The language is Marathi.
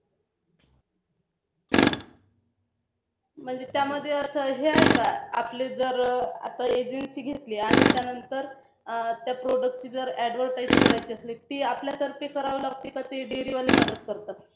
म्हणजे त्या मध्ये असं आहे का आपली जर आता. Agency घेतली आणि त्यानंतर त्या Product ची जर Advertise करायची असली तर ती आपल्यातर्फे करावी लागते की ते Dairy वाले मदत करतात?